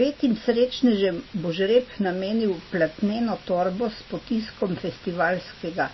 Petim srečnežem bo žreb namenil platneno torbo s potiskom festivalskega